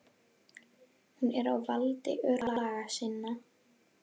Hún er á valdi örlaga sinna.